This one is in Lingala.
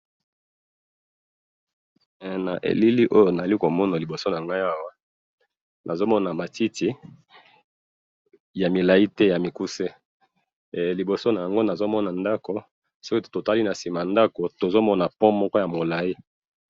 Awa na moni matiti ya molai pe na mukuse na sima nango ndako na sima ndako pont.